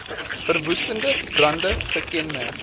verwoestende brande gekenmerk